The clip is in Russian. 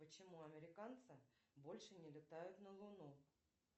почему американцы больше не летают на луну